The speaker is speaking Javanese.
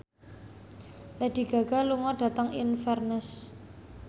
Lady Gaga lunga dhateng Inverness